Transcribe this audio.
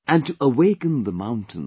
And to awaken the mountains